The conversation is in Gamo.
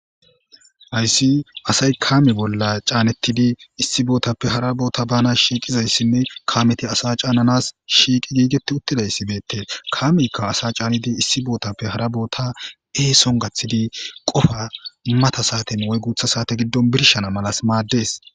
Hayisi assayi kame bolla canetidi issi botape hara botta banasi kameti assa cananasi sheqeti gigeti utidayisi betesi kameyika assa canidi esso gathidi qofa mata sate wuyi gutha sate birishanasi madessi